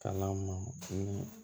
Kalan mɔn